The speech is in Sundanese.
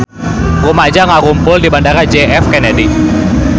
Rumaja ngarumpul di Bandara J F Kennedy